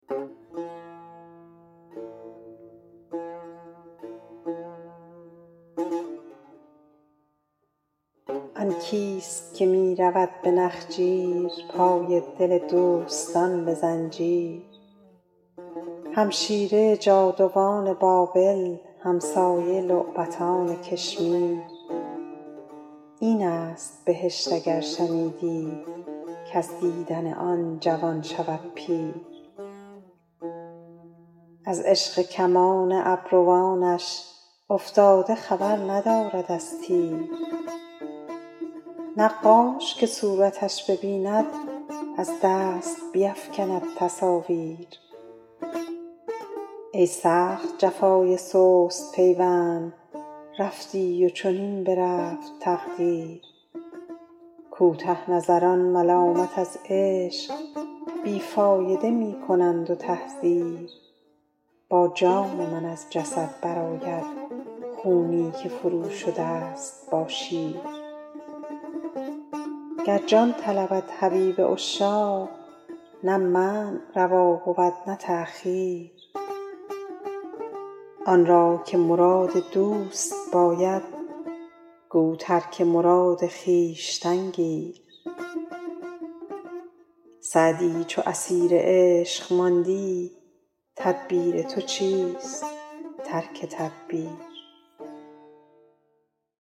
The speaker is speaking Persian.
آن کیست که می رود به نخجیر پای دل دوستان به زنجیر همشیره جادوان بابل همسایه لعبتان کشمیر این است بهشت اگر شنیدی کز دیدن آن جوان شود پیر از عشق کمان دست و بازوش افتاده خبر ندارد از تیر نقاش که صورتش ببیند از دست بیفکند تصاویر ای سخت جفای سست پیوند رفتی و چنین برفت تقدیر کوته نظران ملامت از عشق بی فایده می کنند و تحذیر با جان من از جسد برآید خونی که فروشده ست با شیر گر جان طلبد حبیب عشاق نه منع روا بود نه تأخیر آن را که مراد دوست باید گو ترک مراد خویشتن گیر سعدی چو اسیر عشق ماندی تدبیر تو چیست ترک تدبیر